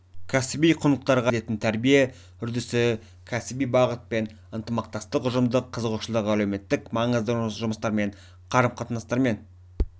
кәсіби құндылықтарға негізделетін тәрбие үрдісі кәсіби бағытпен ынтымақтастық ұжымдық қызығушылық әлеуметтік маңызды жұмыстармен қарым-қатынастармен